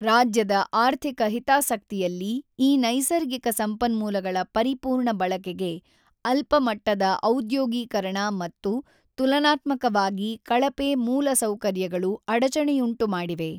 ರಾಜ್ಯದ ಆರ್ಥಿಕ ಹಿತಾಸಕ್ತಿಯಲ್ಲಿ ಈ ನೈಸರ್ಗಿಕ ಸಂಪನ್ಮೂಲಗಳ ಪರಿಪೂರ್ಣ ಬಳಕೆಗೆ ಅಲ್ಪಮಟ್ಟದ ಔದ್ಯೋಗೀಕರಣ ಮತ್ತು ತುಲನಾತ್ಮಕವಾಗಿ ಕಳಪೆ ಮೂಲಸೌಕರ್ಯಗಳು ಅಡಚಣೆಯುಂಟುಮಾಡಿವೆ.